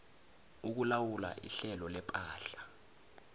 ukulawula ihlelo lepahla